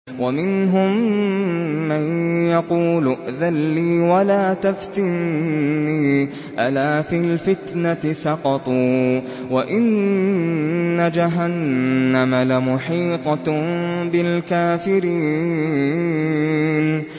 وَمِنْهُم مَّن يَقُولُ ائْذَن لِّي وَلَا تَفْتِنِّي ۚ أَلَا فِي الْفِتْنَةِ سَقَطُوا ۗ وَإِنَّ جَهَنَّمَ لَمُحِيطَةٌ بِالْكَافِرِينَ